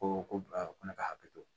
Ko ko ko ne ka hakili to